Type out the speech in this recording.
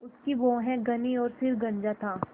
उसकी भौहें घनी और सिर गंजा था